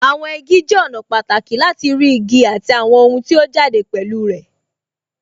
Àwọn igi jẹ́ ọ̀nà pàtàkì láti rí igi àti àwọn ohun tí ó jáde pẹ̀lú ẹ̀